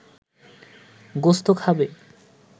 গোস্ত খাবে